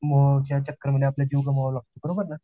मो च्या चक्कर मध्ये आपला जीव गमवावा लागतो, बरोबर ना